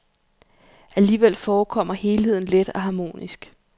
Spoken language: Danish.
Alligevel forekommer helheden let og harmonisk.